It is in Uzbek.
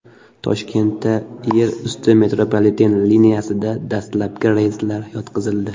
Toshkentda yer usti metropoliten liniyasida dastlabki relslar yotqizildi.